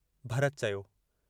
भरत चयो।